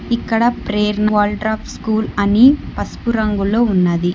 ఇక్కడ ప్రేర్ వోల్డ్రాప్ స్కూల్ అని పసుపు రంగులో ఉన్నది.